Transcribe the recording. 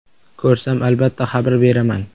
Ko‘rsam, albatta xabar beraman.